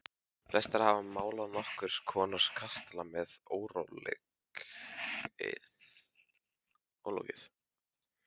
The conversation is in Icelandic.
Flestir hafa málað nokkurs konar kastala sem er ólokið.